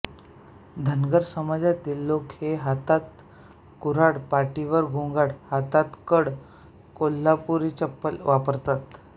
धनगर समाजातील लोक हे हातात कुऱ्हाड पाटीवर घोंगड हातात कड कोल्हापुरी चप्पल वापरतात